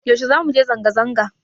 Yaushe zamu je zanga-zanga?